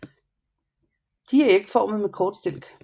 De er ægformede med kort stilk